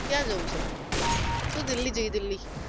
ક્યા જવુ છે? ચલો દિલ્હી જઈએ દિલ્હી